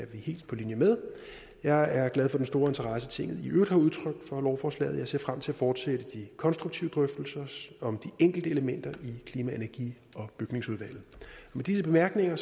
vi helt på linje med jeg er glad for den store interesse tinget i øvrigt har udtrykt for lovforslaget og jeg ser frem til at fortsætte de konstruktive drøftelser om de enkelte elementer i klima energi og bygningsudvalget med disse bemærkninger